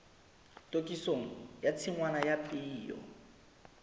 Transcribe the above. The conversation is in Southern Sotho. tokisong ya tshingwana ya peo